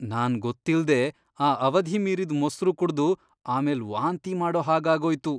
ನಾನ್ ಗೊತ್ತಿಲ್ದೇ ಆ ಅವಧಿ ಮೀರಿದ್ ಮೊಸ್ರು ಕುಡ್ದು ಆಮೇಲ್ ವಾಂತಿ ಮಾಡೋ ಹಾಗಾಗೋಯ್ತು.